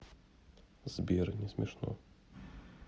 сбер несмешно